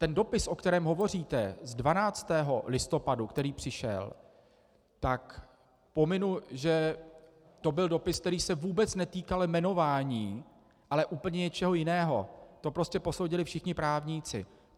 Ten dopis, o kterém hovoříte, z 12. listopadu, který přišel, tak pominu, že to byl dopis, který se vůbec netýkal jmenování, ale úplně něčeho jiného, to prostě posoudili všichni právníci.